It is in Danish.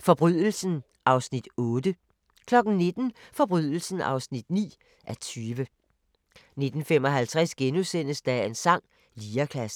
Forbrydelsen (8:20)* 19:00: Forbrydelsen (9:20) 19:55: Dagens sang: Lirekassen *